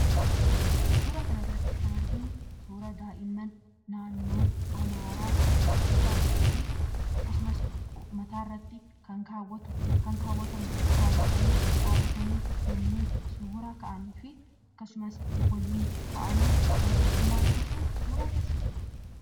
Suuraa kanarratti kan arginu suuraa daa'imman daa'imman naannoo amaaraa uffataa fi akkasumas mataarratti kan kaawwatamu kaawwatanii dhaabbatanii yommuu suuraa ka'anii fi waliin ta'anii yeroo tokkummaa dabarsan suuraa agarsiisudha.